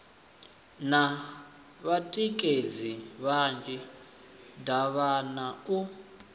na vhatikedzi vhanzhi davhana u